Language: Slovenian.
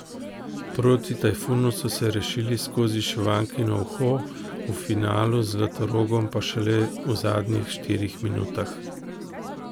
Proti Tajfunu so se rešili skozi šivankino uho, v finalu z Zlatorogom pa šele v zadnjih štirih minutah.